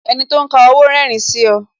Enito ń ka owó rerin sí ọ